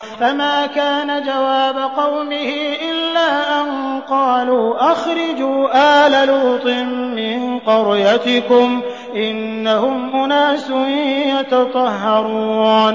۞ فَمَا كَانَ جَوَابَ قَوْمِهِ إِلَّا أَن قَالُوا أَخْرِجُوا آلَ لُوطٍ مِّن قَرْيَتِكُمْ ۖ إِنَّهُمْ أُنَاسٌ يَتَطَهَّرُونَ